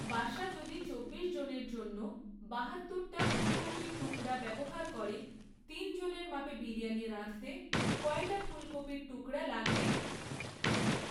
Basha যদি চব্বিশ জনের জন্য বাহাওর টা ফুলকপির টুকড়া ব্যবহার করে তিন জনের মাপে বিরিয়ানি রাধঁতে কয়টা ফুলকপির টুকড়া লাগবে?